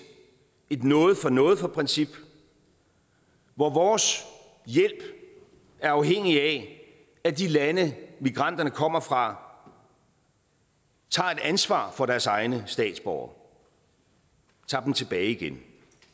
noget for noget princip hvor vores hjælp er afhængig af at de lande migranterne kommer fra tager et ansvar for deres egne statsborgere og tager dem tilbage igen